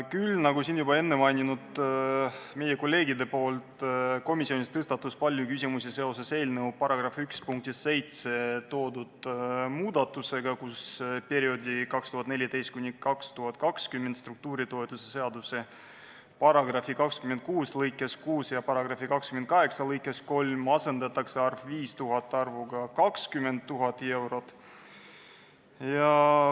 Küll aga, nagu meie kolleegid siin enne mainisid, tõstatus komisjonis palju küsimusi seoses eelnõu § 1 punktis 7 esitatud muudatusettepanekuga, mille korral perioodi 2014–2020 struktuuritoetuse seaduse § 26 lõikes 6 ja § 28 lõikes 3 asendatakse arv 5000 arvuga 20 000.